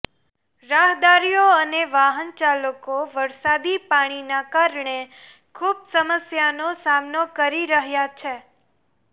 રાહદારીઓ અને વાહન ચાલકો વરસાદી પાણીના કારણે ખુબ સમસ્યાનો સામનો કરી રહ્યા છે